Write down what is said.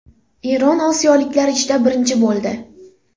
Eron osiyoliklar ichida birinchi bo‘ldi.